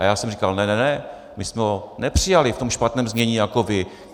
A já jsem říkal: ne, ne, ne, my jsme ho nepřijali v tom špatném znění jako vy.